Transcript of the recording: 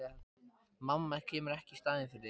Mamma kemur ekki í staðinn fyrir þig.